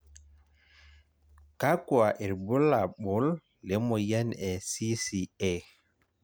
kakua irbulabol le moyian e CCA.